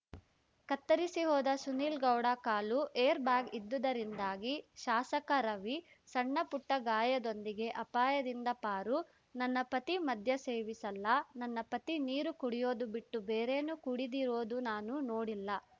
ಕತ್ತರಿಸಿ ಹೋದ ಸುನಿಲ್‌ಗೌಡ ಕಾಲು ಏರ್‌ಬ್ಯಾಗ್‌ ಇದ್ದುದರಿಂದಾಗಿ ಶಾಸಕ ರವಿ ಸಣ್ಣಪುಟ್ಟಗಾಯದೊಂದಿಗೆ ಅಪಾಯದಿಂದ ಪಾರು ನನ್ನ ಪತಿ ಮದ್ಯ ಸೇವಿಸಲ್ಲ ನನ್ನ ಪತಿ ನೀರು ಕುಡಿಯೋದು ಬಿಟ್ಟು ಬೇರೇನು ಕುಡಿದಿರೋದೂ ನಾನು ನೋಡಿಲ್ಲ